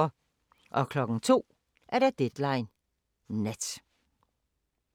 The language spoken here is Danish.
02:00: Deadline Nat